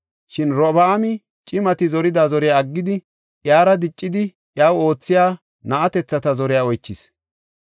Shin Robi7aami cimati zorida zoriya aggidi, iyara diccidi iyaw oothiya na7atethata zore oychis.